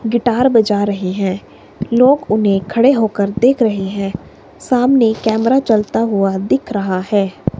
Guitar बजा रहे हैं लोग उन्हें खड़े होकर देख रहे हैं सामने कैमरा चलता हुआ दिख रहा है।